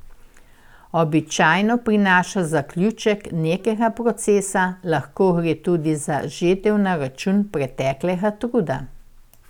Običajno prinaša zaključek nekega procesa, lahko gre tudi za žetev na račun preteklega truda.